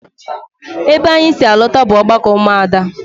Ebe anyị si alọta bụ ọgbakọ ụmụ Ada